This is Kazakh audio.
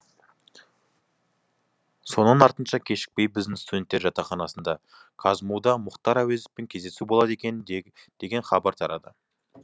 соның артынша кешікпей біздің студенттер жатақханасында қазму да мұхтар әуезовпен кездесу болады екен деген хабар тарады